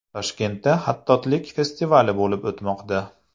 Toshkentda xattotlik festivali bo‘lib o‘tmoqda.